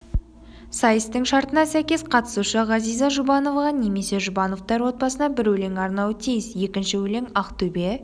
сайыстың шартына сәйкес қатысушы ғазиза жұбановаға немесе жұбановтар отбасына бір өлең арнауы тиіс екінші өлең ақтөбе